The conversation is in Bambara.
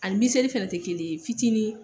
Ani miseli fɛnɛ te kelen ye fitinin